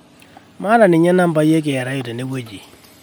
maata ninye nambai e kra tenewueji